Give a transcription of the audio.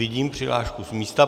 Vidím přihlášku z místa.